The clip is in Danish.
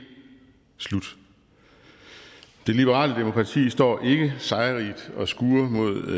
slut det liberale demokrati står ikke sejrrigt og skuer mod